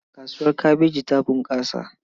Kasuwar kabeji ta bunƙasa.